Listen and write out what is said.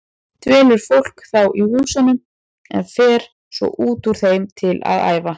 Dvelur fólk þá í húsunum en fer svo út úr þeim til að æfa.